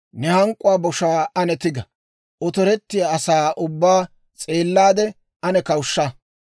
Ne hank'k'uwaa boshaa ane tiga; otorettiyaa asaa ubbaa s'eellaade, ane kawushsha!